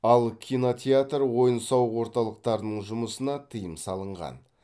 ал кинотеатр ойын сауық орталықтарының жұмысына тыйым салынған